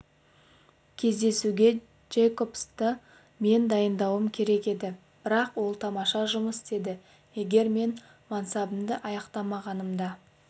кездесуге джейкобсты мен дайындауым керек еді бірақ ол тамаша жұмыс істеді егер мен мансабымды аяқтамағанымда